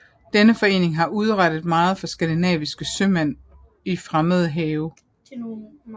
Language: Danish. Denne forening har udrettet meget for skandinaviske sømænd i fremmede havne